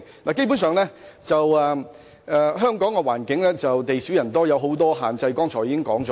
我剛才已提及香港的環境基本上地少人多，存有眾多限制。